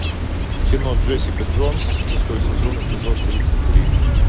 кино джессика джонс шестой сезон эпизод тридцать три